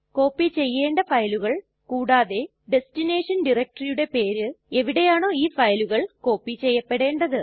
copy ചെയ്യണ്ട ഫയലുകൾ കൂടാതെ ഡെസ്റ്റിനേഷൻ DIRECTORYയുടെ പേര് എവിടെയാണോ ഇ ഫയലുകൾ കോപ്പി ചെയ്യപ്പെടേണ്ടത്